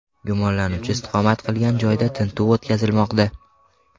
Gumonlanuvchi istiqomat qilgan joyda tintuv o‘tkazilmoqda.